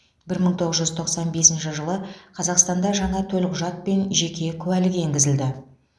бір мың тоғыз жүз тоқсан бесінші жылы қазақстанда жаңа төлқұжат пен жеке куәлік енгізілді